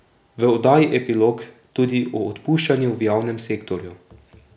V oddaji Epilog tudi o odpuščanju v javnem sektorju.